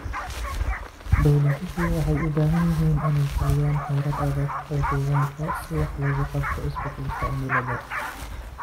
Dawladuhu waxay u baahan yihiin inay fuliyaan xeerar adag oo deegaanka si wax looga qabto isbeddelka cimilada.